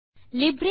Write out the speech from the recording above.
அனைவருக்கும் வணக்கம்